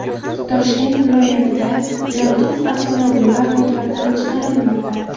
Toshkent viloyatida yaroqsiz avtomobillar ro‘yxatdan chiqarilmoqda.